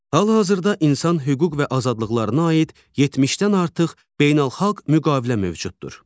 Hal-hazırda insan hüquq və azadlıqlarına aid 70-dən artıq beynəlxalq müqavilə mövcuddur.